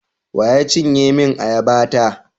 Wa ya cinye min ayaba ta?